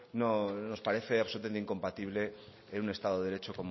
nos parece absolutamente incompatible en un estado de derecho